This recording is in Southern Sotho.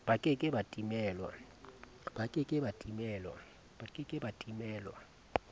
ba ke ke ba timelwa